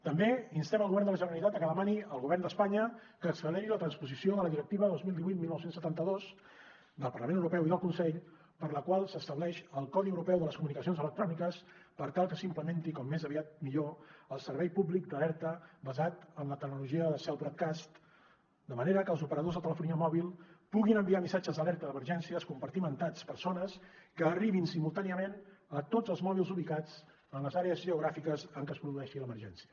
també instem el govern de la generalitat a que demani al govern d’espanya que acceleri la transposició de la directiva dos mil divuit dinou setanta dos del parlament europeu i del consell per la qual s’estableix el codi europeu de les comunicacions electròniques per tal que s’implementi com més aviat millor el servei públic d’alerta basat en la tecnologia del cell broadcast de manera que els operadors de telefonia mòbil puguin enviar missatges d’alerta d’emergències compartimentats per zones que arribin simultàniament a tots els mòbils ubicats en les àrees geogràfiques en què es produeixi l’emergència